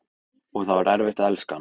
Og það var erfitt að elska hann.